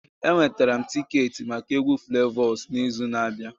Ee, enwetara m tiketi maka egwu Flavors n'izu na-abịa